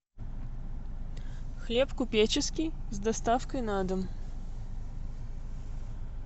хлеб купеческий с доставкой на дом